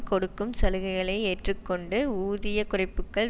கொடுக்கும் சலுகைகளை ஏற்றுக்கொண்டு ஊதிய குறைப்புக்கள்